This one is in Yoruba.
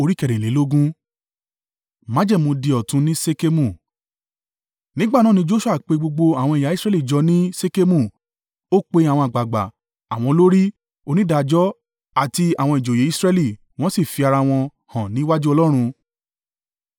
Nígbà náà ni Joṣua pe gbogbo àwọn ẹ̀yà Israẹli jọ ní Ṣekemu. Ó pe àwọn àgbàgbà, àwọn olórí, onídàájọ́ àti àwọn ìjòyè Israẹli, wọ́n sì fi ara wọn hàn níwájú Ọlọ́run.